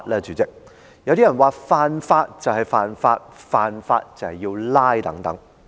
主席，有些人說犯法便是犯法，犯法便要被拘捕等。